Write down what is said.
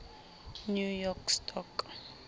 new york stock